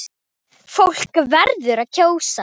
Fólk verður að kjósa!